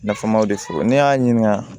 Nafamaw de fɔ ne y'a ɲininka